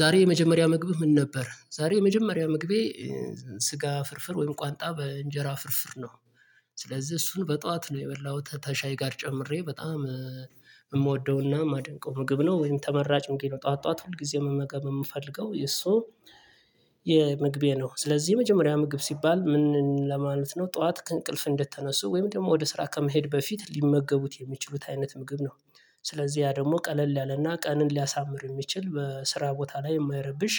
ዛሬ የመጀመሪያ ምግብህ ምን ነበር? ዛሬ የመጀመሪያ ምግቤ ስጋ ፍርፍር ወይም ቋንጣ በእንጀራ ፍርፍር ነው። ስለዚህ እሱን በጠዋት ነው የበላሁት ተሻይ ጋር ጨምሬ በጣም የምወደውና የማደንቀው ምግብ ነው ወይም ተመራጭ እንግዲህ ነው ጠዋት ጠዋት ሁልጊዜም መመገብ የምፈልገው የሱ የምግቤ ነው። ስለዚህ የመጀመሪያ ምግብ ሲባል ምን ለማለት ነው ጠዋት ከእንቅልፍ እንደተነሱ ወይም ደግሞ ወደ ስራ ከመሄድ በፊት ሊመገቡት የሚችሉት አይነት ምግብ ነው። ስለዚህ ያ ደግሞ ቀለል ያለና ቀንን ሊያሳምር የሚችል በስራ ቦታ ላይ የማይረብሽ